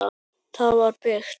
Það var byggt